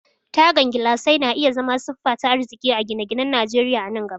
Tagan gilasai na iya zama siffa ta arziki a gine-ginen Najeriya a nan gaba.